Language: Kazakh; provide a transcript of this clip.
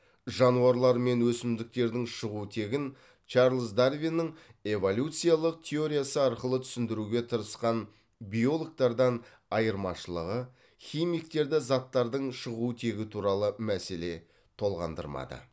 жануарлар мен өсімдіктердің шығу тегін чарлз дарвиннің эволюциялық теориясы арқылы түсіндіруге тырысқан биологтардан айырмашылығы химиктерді заттардың шығу тегі туралы мәселе толғандырмады